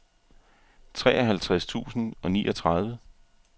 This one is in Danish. treoghalvtreds tusind og niogtredive